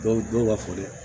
Dɔw don ka fɔ dɛ